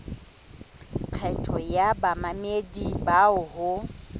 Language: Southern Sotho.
kgetho ya bamamedi bao ho